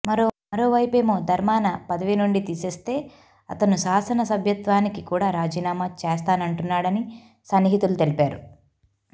మరో వైపేమో ధర్మాన పదవి నుండి తీసేస్తే అతను శాసన సభ్యత్వానికి కూడా రాజీనామా చేస్తానంటున్నాడని సన్నిహితులు తెలిపారు